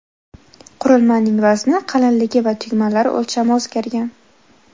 Qurilmaning vazni, qalinligi va tugmalari o‘lchami o‘zgargan.